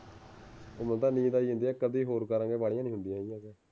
ਮੈਨੂੰ ਤਾਂ ਨੀਂਦ ਆਈ ਜਾਂਦੀ ਏ